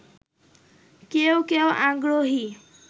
কেউ কেউ আগ্রহী